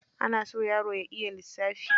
Ana so yaro ya iya lissafi.